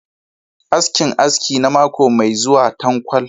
askinAski na mako mai zuwa tankwal.